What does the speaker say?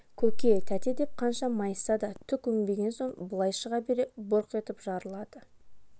көке тәте деп қанша майысса да түк өнбеген соң былай шыға бере бұрқ етіп жарылады